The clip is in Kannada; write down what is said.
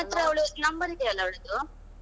ನಿನ್ನತ್ರ ಅವಳ number ಇದೆಯಲ್ಲಾ ಅವಳದ್ದು.